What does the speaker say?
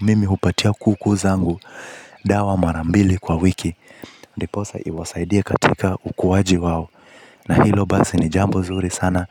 Mimi hupatia kuku zangu. Dawa marambili kwa wiki. Ndiposa iwasaidie katika ukuaji wao. Na hilo basi ni jambo zuri sana.